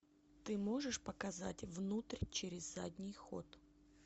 ты можешь показать внутрь через задний ход